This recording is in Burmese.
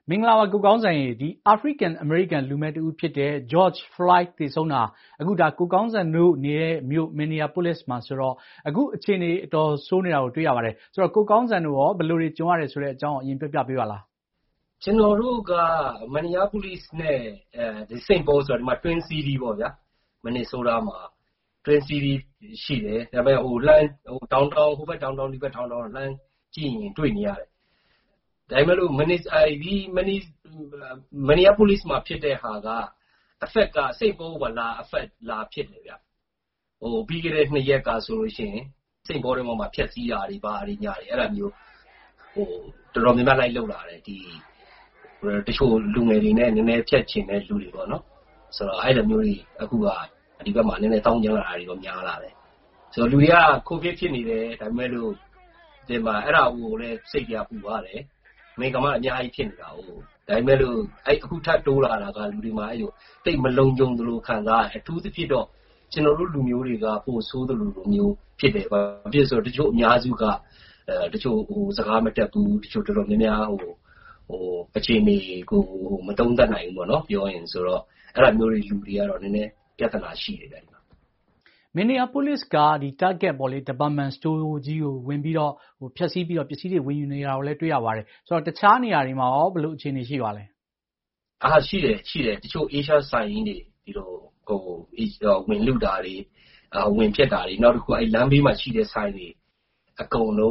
မင်္ဂလာပါ ကိုကောင်းဇံ၊ အာဖရိကန်-အမေရိကန် လူမည်းတဦးဖြစ်တဲ့ George Floyd သေဆုံးတာ ကိုကောင်းဇံတို့နေတဲ့ Minneapolis မှာဆိုတော့ အခုအခြေအနေ အတော်ဆိုးနေတာကို တွေ့ရပါတယ်။ ကိုကောင်းဇံတို့ရော ဘယ်လိုတွေ ကြုံရလဲဆိုတာ အရင်ပြောပြပေးပါလား။ “ကျနော်တို့က Minneapolis နဲ့ St. Paul ဆိုတာ Twin City ပေ့ါဗျာ၊ Minnesota မှာ Twin City ရှိတယ်၊ ဟိုဘက် Downtown ဒီဘက် Downtown လှမ်းကြည့်ရင် တွေ့နေရတယ်။ ဒါပေမယ့် Minneapolis မှာ ဖြစ်တဲ့ဟာက St. Paul ကိုပါ လာရိုက်ခတ်တယ်။ ပြီးခဲ့တဲ့နှစ်ရက်ကဆို St. Paul ထဲမှာပါ ဖျက်ဆီးတာတွေ ဘာတွေ အဲဒါမျိုး တော်တော်များများ လိုက်လုပ်လာတယ်။ တချို့လူငယ်တွေနဲ့ ဖျက်ချင်တဲ့လူတွေပေါ့။ အဲလိုမျိုး အခု ဒီဘက်မှာ သောင်းကျန်းလာတာတွေတော့ များလာတယ်။ လူတွေက ကိုဗစ်ဖြစ်နေတယ်၊ အဲဒါကိုလည်း စိတ်ပူရတယ်၊ အမေရိကန်မှာက အများကြီး ဖြစ်နေတာကိုး၊ ဒါပေမယ့် အခု ထပ်တိုးလာတာက လူတွေမှာ သိပ်မလုံခြုံသလို ခံစားရတယ်။ အထူးသဖြင့်တော့ ကျနော်တို့ လူမျိုးတွေက ပိုဆိုးသလိုမျိုး ဖြစ်တယ်။ ဘာဖြစ်လို့လဲဆိုတော့ တချို့ အများစုက စကားမတတ်ဘူး၊ အခြေအနေကို မသုံးသပ်နိုင်ဘူး၊ ဆိုတော့ အဲလိုမျိုးလူတွေကတော့ ပြဿနာ နည်းနည်းရှိတယ်။” Minneapolis က Target စတိုးဆိုင်ကြီးကို ဝင်ဖျက်ဆီးပြီးတော့ ပစ္စည်းတွေ ဝင်ယူနေတာကိုလည်း တွေ့ရပါတယ်။ တခြားနေရာတွေမှာရော ဘယ်လိုအခြေအနေ ရှိပါသလဲ။ “ရှိတယ်၊ တချို့ အေးရှားဆိုင်ကြီးတွေကို ဝင်လုတာတွေ၊ ဝင်ဖျက်တာတွေ၊ နောက်တခုက လမ်းဘေးမှာရှိတဲ့ ဆိုင်တွေ အကုန်လုံ